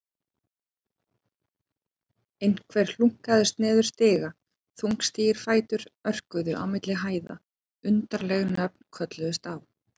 Einhver hlunkaðist niður stiga, þungstígir fætur örkuðu á milli hæða, undarleg nöfn kölluðust á.